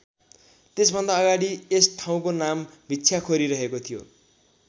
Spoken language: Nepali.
त्यसभन्दा अगाडि यस ठाउँको नाम भिक्षाखोरी रहेको थियो।